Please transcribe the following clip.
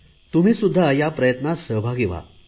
तुम्ही सुध्दा या प्रयत्नात सहभागी व्हा